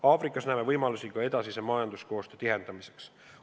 Aafrikas näeme võimalusi ka edasise majanduskoostöö tihendamiseks.